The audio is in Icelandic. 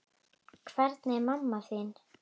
Hvernig er mamma þín?